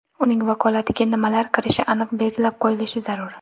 Uning vakolatiga nimalar kirishi aniq belgilab qo‘yilish zarur.